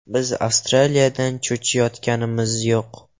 Biz Avstraliyadan cho‘chiyotganimiz yo‘q.